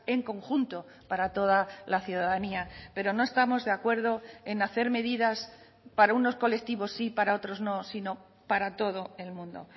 en conjunto para toda la ciudadanía pero no estamos de acuerdo en hacer medidas para unos colectivos sí y para otros no sino para todo el mundo